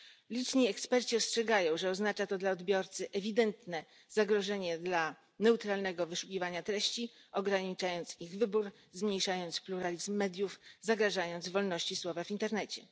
Liczni eksperci ostrzegają, że oznacza to dla odbiorcy ewidentne zagrożenie dla neutralnego wyszukiwania treści ograniczając ich wybór, zmniejszając pluralizm mediów, zagrażając wolności słowa w internecie.